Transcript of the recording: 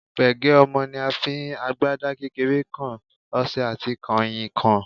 Pègé ọmọ ni a fi, agbada kékeré kan, ọṣẹ àti kànrìnkàn.